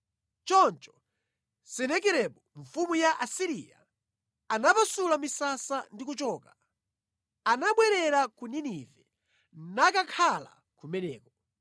Choncho Senakeribu mfumu ya ku Asiriya anapasula misasa ndi kuchoka. Anabwerera ku Ninive nakakhala kumeneko.